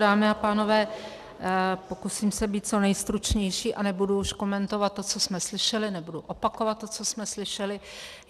Dámy a pánové, pokusím se být co nejstručnější a nebudu už komentovat to, co jsme slyšeli, nebudu opakovat to, co jsme slyšeli.